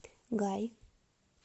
гай